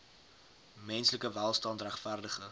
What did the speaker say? menslike welstand regverdige